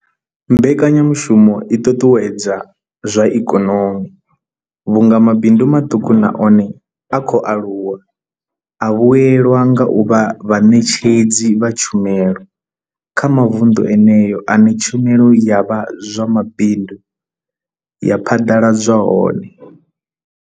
Mbekanyamushumo i ṱuṱuwedza zwa ikonomi vhunga mabindu maṱuku na one a khou aluwa a vhuelwa nga u vha vhaṋetshedzi vha tshumelo kha mavunḓu eneyo ane tshumelo ya zwa mabindu ya phaḓaladzwa hone.